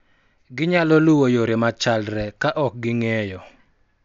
Ginyalo luwo yore machalre ka ok ging�eyo,